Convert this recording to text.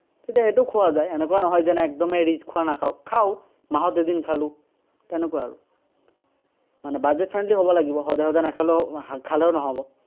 তেতিয়া সেইটোও খোৱা যায়, এনেকুৱা নহয় যেন একদমেই rich খোৱা নাখাঁও, খাঁও। মাহত এদিন খালো, তেনেকুৱা আৰু। মানে buget-friendly হ'ব লাগে। মানে সদায় সদায় নাখালেও, খালেও নহ'ব।